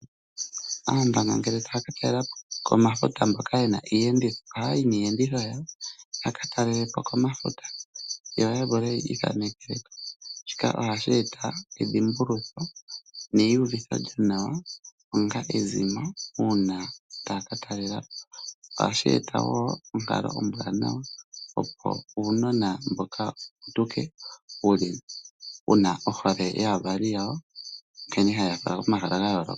Aandonga ngele taya ka talela po komafuta mboka ye na iiyenditho ohaya yi niiyenditho yawo ya ka talele po komafuta yo ya vule yi ithanekele ko. Shika ohashi eta edhimbulutho neyiuvitho lyonawa onga ezimo uuna taya ka talela po. Ohashi eta wo onkalo ombwanawa, opo uunona mboka wu putuke wu na ohole yaavali yawo nkene haye ya fala komahala ga yooloka.